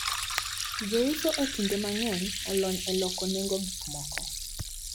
Jouso e kinde mang`eny olony e loko nengo gikmoko.